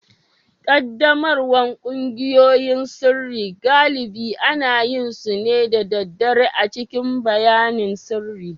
Ƙaddamarwar ƙungiyoyin sirri galibi ana yin su ne da daddare a cikin bayanan sirri